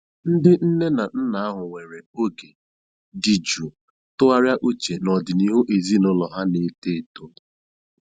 Ndị nne na nna ahụ were oge dị jụụ tụgharịa uche na ọdịnihu ezinụlọ ha na-eto eto.